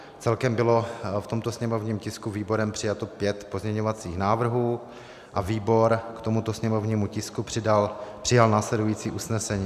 Celkem bylo v tomto sněmovním tisku výborem přijato pět pozměňovacích návrhů a výbor k tomuto sněmovnímu tisku přijal následující usnesení.